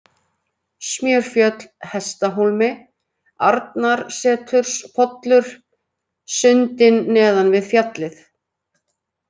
Smjörfjöll, Hestahólmi, Arnarseturspollur, Sundin neðan við fjallið